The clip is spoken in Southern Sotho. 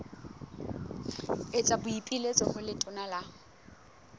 etsa boipiletso ho letona la